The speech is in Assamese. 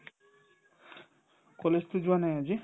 কলেজতো যোৱা নাই আজি